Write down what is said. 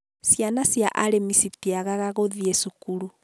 ciana cia arĩmi citiagaga gũthiĩ cukuru